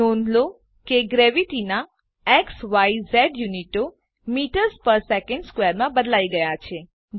નોંધ લો કે ગ્રેવીટીનાં ઝિઝ યુનિટો મીટર્સ પેર સેકન્ડ સ્ક્વેર માં બદલાઈ ગયા છે